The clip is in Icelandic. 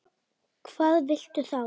Hvað viltu þá?